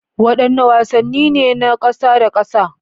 Wadanne wasanni ne na kasa da kasa?